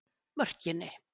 Mörkinni